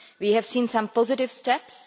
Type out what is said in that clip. We have seen some positive steps